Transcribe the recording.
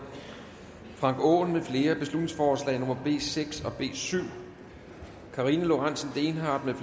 frank aaen mfl beslutningsforslag nummer b seks og b syv karina lorentzen dehnhardt